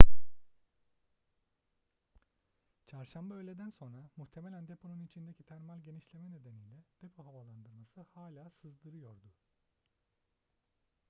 çarşamba öğleden sonra muhtemelen deponun içindeki termal genişleme nedeniyle depo havalandırması hala sızdırıyordu